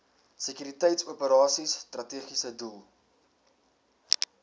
sekuriteitsoperasies strategiese doel